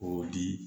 O di